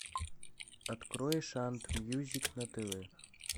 открой шант мьюзик на тв